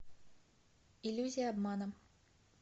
иллюзия обмана